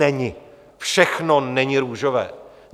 Není, všechno není růžové.